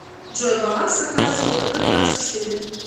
джой баланс на карте втб двадцать четыре